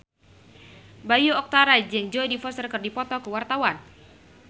Bayu Octara jeung Jodie Foster keur dipoto ku wartawan